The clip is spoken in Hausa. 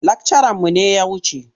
Lakcaranmu ne ya wuce.